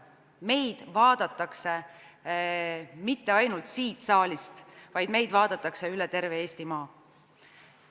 Meid vaadatakse mitte ainult siit saalist, vaid meid vaadatakse üle terve Eestimaa.